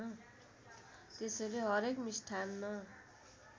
त्यसैले हरेक मिष्ठान्न